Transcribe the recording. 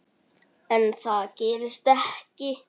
En það gerist ekki.